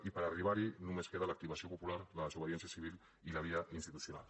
i per arribar hi només queda l’activació popular la desobediència civil i la via institucional